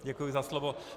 Děkuji za slovo.